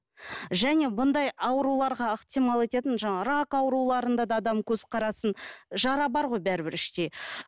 және бұндай ауруларға ықтимал ететін жаңағы рак ауруларында да адам көзқарасын жара бар ғой бәрібір іште